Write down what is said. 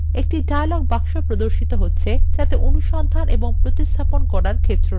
একটি dialog বাক্স প্রদর্শিত হচ্ছে যাতে অনুসন্ধান এবং প্রতিস্থাপন করার ক্ষেত্র আছে